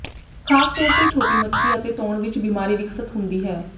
ਖ਼ਾਸ ਤੌਰ ਤੇ ਛੋਟੀ ਮੱਛੀ ਅਤੇ ਤੌਣ ਵਿਚ ਬਿਮਾਰੀ ਵਿਕਸਤ ਹੁੰਦੀ ਹੈ